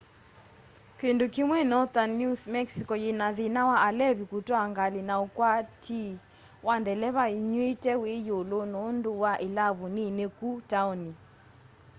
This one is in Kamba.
kindu kimwi northern new mexico yina thina wa alevi kutwaa ngali na ukwatii wa ndeleva inyuite wi yulu nundu wa ilavu nini kũ taoni